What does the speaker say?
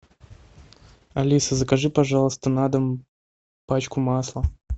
алиса закажи пожалуйста на дом пачку масла